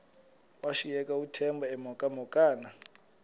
washiyeka uthemba emhokamhokana